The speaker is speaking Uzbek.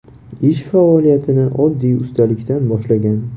Ish faoliyatini oddiy ustalikdan boshlagan.